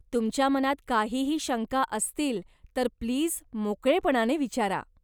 तुमच्या मनात काहीही शंका असतील तर प्लीज मोकळेपणाने विचारा.